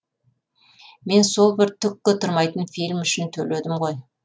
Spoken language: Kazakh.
мен сол бір түкке тұрмайтын фильм үшін төледім ғой